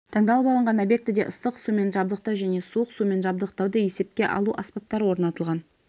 таңдалып алынған объектіде ыстық сумен жабдықтау және суық сумен жабдықтауды есепке алу аспаптары орнатылған